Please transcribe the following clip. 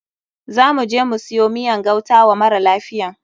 Za muje mu siyo miyan gauta wa mara lafiyan.